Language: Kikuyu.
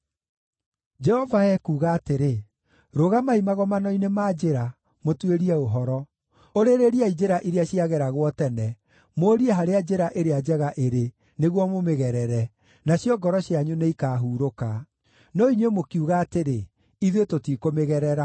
Jehova ekuuga atĩrĩ: “Rũgamai magomano-inĩ ma njĩra, mũtuĩrie ũhoro; ũrĩrĩriai njĩra iria ciageragwo tene, mũũrie harĩa njĩra ĩrĩa njega ĩrĩ, nĩguo mũmĩgerere, nacio ngoro cianyu nĩikahurũka. No inyuĩ mũkiuga atĩrĩ, ‘Ithuĩ tũtikũmĩgerera.’